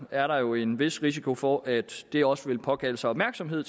er der jo en vis risiko for at det også vil påkalde sig opmærksomhed